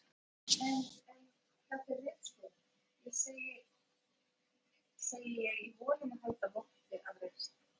En en. þetta er ritskoðun, segi ég í von um að halda votti af reisn.